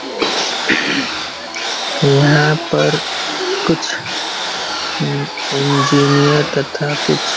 यहाँ पर कुछ इंजीनिअर तथा कुछ --